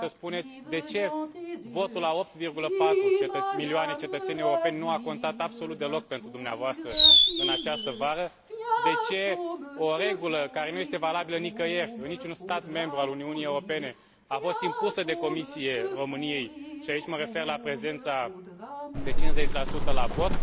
trebuie să spuneți de ce votul a 8,4 milioane de cetățeni europeni nu a contat absolut deloc pentru dumneavoastră în această vară de ce o regulă care nu este valabilă nicăieri, în niciun stat membru al Uniunii Europene, a fost impusă de Comisie României, și aici mă refer la prezența de 50 la vot